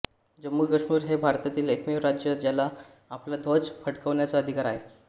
जम्मू काश्मीर हे भारतातील एकमेव राज्य आहे ज्याला आपला ध्वज फडकवण्याचा अधिकार आहे